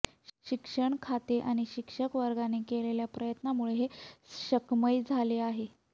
शिक्षण खाते आणि शिक्षक वर्गाने केलेल्या प्रयत्नामुळे हे शक्मय झाले आहे